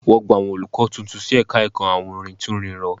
Wọ́n gba àwọn olùkọ́ tuntun sí ẹ̀ka ẹ̀kọ́ awúrintúnrinrọ